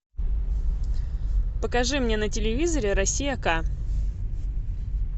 покажи мне на телевизоре россия к